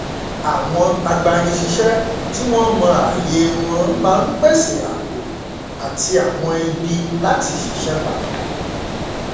àwọn agbanisíṣẹ tí wọn mọ ààyè wọn máa n pèsè ààbò àti àwọn ibi láti ṣiṣẹ papọ